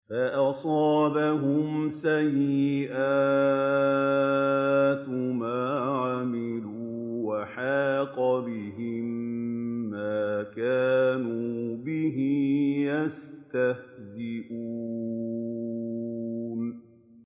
فَأَصَابَهُمْ سَيِّئَاتُ مَا عَمِلُوا وَحَاقَ بِهِم مَّا كَانُوا بِهِ يَسْتَهْزِئُونَ